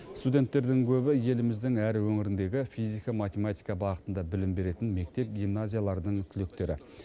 студенттердің көбі еліміздің әр өңіріндегі физика математика бағытында білім беретін мектеп гимназияларының түлектері